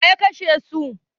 Waya kashe su?